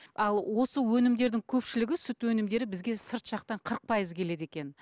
ал осы өнімдердің көпшілігі сүт өнімдері бізге сырт жақтан қырық пайызы келеді екен